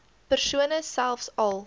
persone selfs al